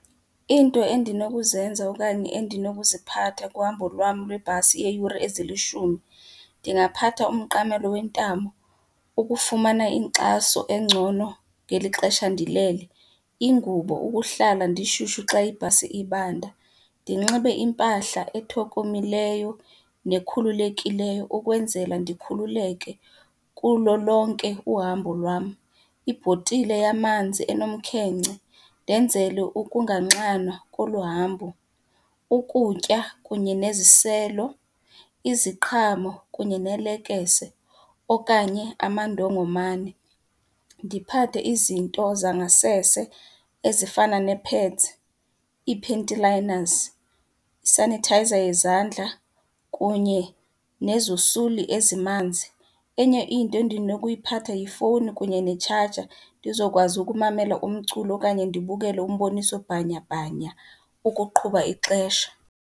Into endinokuzenza okanye endinokuziphatha kuhambo lwam lwebhasi yeyure ezilishumi, ndingaphatha umqamelo wentamo ukufumana inkxaso engcono ngeli xesha ndilele, ingubo ukuhlala ndishushu xa ibhasi ibanda, ndinxibe impahla ethokomileyo nekhululekileyo ukwenzela ndikhululeke kulo lonke uhambo lwam. Ibhotile yamanzi enomkhenkce ndenzele ukunganxanwa kolu hambo, ukutya kunye neziselo, iziqhamo kunye nelekese okanye amandongomane. Ndiphathe izinto zangasese ezifana nee-pads, iipanty liners, i-sanitizer yezandla kunye nezosuli ezimanzi. Enye into endinokuyiphatha yifowuni kunye netshaja, ndizokwazi ukumamela umculo okanye ndibukele umboniso bhanyabhanya ukuqhuba ixesha.